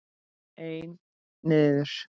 Einn niður.